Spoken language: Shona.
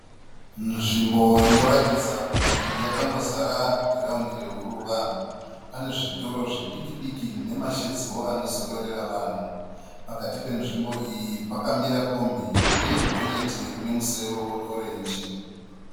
Nzvimbo inoratidza kuti yakangozara giraundi rehuruva. Pane zvitoro zvidiki diki nemashedziwo anozororera vanhu. Pakati penzvimbo iyi pakamira kombi uye gonyeti rine musoro weorenji.